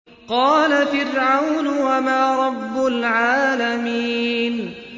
قَالَ فِرْعَوْنُ وَمَا رَبُّ الْعَالَمِينَ